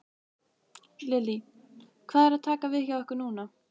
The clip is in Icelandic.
Lillý: Hvað er að taka við hjá ykkur núna?